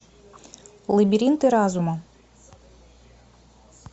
лабиринты разума